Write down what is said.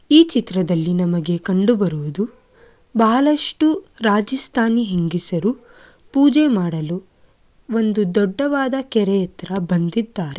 ಈ ಚಿತ್ರದಲ್ಲಿ ನಮಗೆ ಕಂಡುಬರುವುದು ಬಹಳಷ್ಟು ರಾಜಸ್ತಾನಿ ಹೆಂಗಸರು ಪೂಜೆ ಮಾಡಲು ಒಂದು ದೊಡ್ಡವಾದ ಕೆರೆ ಹತ್ರ ಬಂದಿದ್ದಾರೆ.